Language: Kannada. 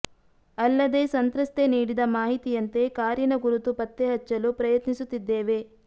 ಅಲ್ಲದೆ ಸಂತ್ರಸ್ತೆ ನೀಡಿದ ಮಾಹಿತಿಯಂತೆ ಕಾರಿನ ಗುರುತು ಪತ್ತೆ ಹಚ್ಚಲು ಪ್ರಯತ್ನಿಸುತ್ತಿದ್ದೇವೆ